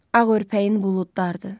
Ağ örpəyin buludlardır.